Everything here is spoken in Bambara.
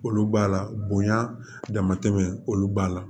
Olu b'a la bonya dama tɛmɛ olu b'a la